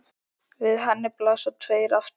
Við henni blasa tveir aftur